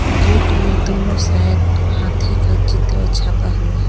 Gate में दोनों side हाथी का चित्र छापा हुआ है।